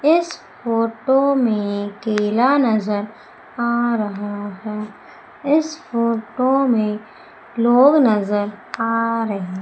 इस फोटो में केला नजर आ रहा है इस फोटो में लोग नजर आ रहे--